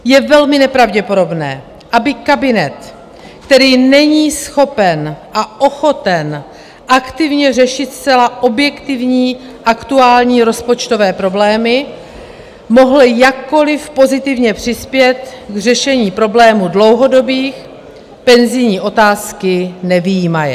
Je velmi nepravděpodobné, aby kabinet, který není schopen a ochoten aktivně řešit zcela objektivní aktuální rozpočtové problémy, mohl jakkoliv pozitivně přispět k řešení problému dlouhodobých, penzijní otázky nevyjímaje.